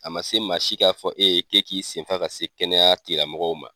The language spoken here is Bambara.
A man se maa si k'a fɔ e ye k'e k'i senfa ka se kɛnɛya tigi lamɔgɔw ma.